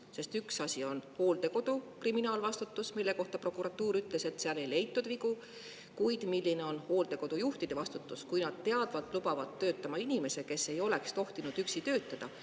Sest üks asi on hooldekodu kriminaalvastutus, mille kohta prokuratuur ütles, et seal ei leitud vigu, kuid milline on hooldekodu juhtide vastutus, kui nad teadvat lubavat töötama inimese, kes ei oleks tohtinud üksi töötada.